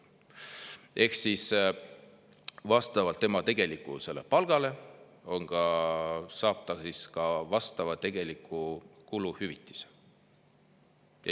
Ehk siis vastavalt tema tegelikule palgale saab ta ka vastavat tegelikku kuluhüvitist.